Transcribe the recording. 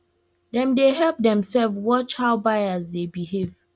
dem dey help themselves watch how buyer dey behave